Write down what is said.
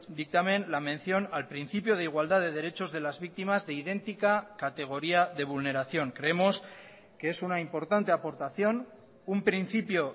dictamen la mención al principio de igualdad de derechos de las víctimas de idéntica categoría de vulneración creemos que es una importante aportación un principio